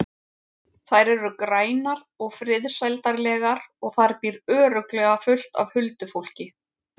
Þær eru grænar og friðsældarlegar og þar býr örugglega fullt af huldufólki.